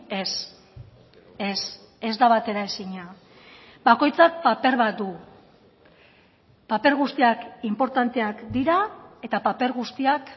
ez ez ez da bateraezina bakoitzak paper bat du paper guztiak inportanteak dira eta paper guztiak